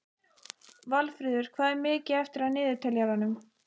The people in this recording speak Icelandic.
Valfríður, hvað er mikið eftir af niðurteljaranum?